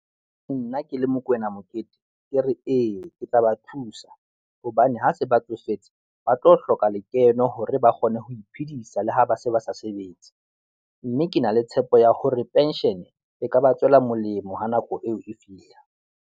Nna ke le Mokoena Mokete, ke re eya ke tla ba thusa hobane ha se ba tsofetse, ba tlo hloka lekeno hore ba kgone ho iphedisa le ha ba se ba sa sebetse mme ke na le tshepo ya hore penshene e ka ba tswela molemo ha nako eo e fihla.